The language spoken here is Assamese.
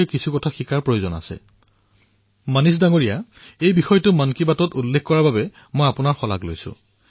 মনীষ মহোহয় এই বিষয়ত মন কী বাতৰ শ্ৰোতাৰ সন্মুখত প্ৰস্তুত কৰাৰ বাবে আপোনাক ধন্যবাদ জনাইছোঁ